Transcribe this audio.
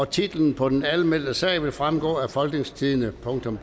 titlen på den anmeldte sag vil fremgå af folketingstidende